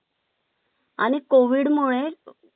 आणि कोविड मुळे